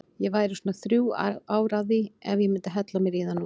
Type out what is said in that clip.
Ég væri svona þrjú ár að því ef ég myndi hella mér í það núna.